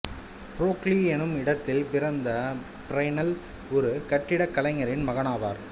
Broglie என்னும் இடத்தில் பிறந்த ஃபிரெனெல் ஒரு கட்டிடக்கலைஞரின் மகனாவார்